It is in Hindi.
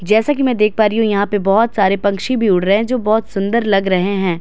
जैसा कि मैं देख पा रही हूं यहां पे बहोत सारे पक्षी भी उड़ रहे हैं जो बहोत सुंदर लग रहे हैं।